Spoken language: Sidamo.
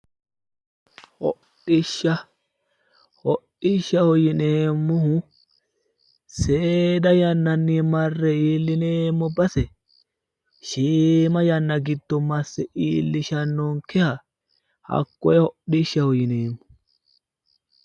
Hodhishsha, hodhishshaho yineemmohu seeda yannanni marre iillineemmo base shiima yanna giddo masse iillishshannonkeha hakkoye hodhishshaho yineemmo.